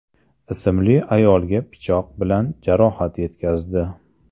ismli ayolga pichoq bilan jarohat yetkazdi.